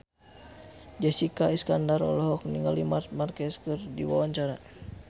Jessica Iskandar olohok ningali Marc Marquez keur diwawancara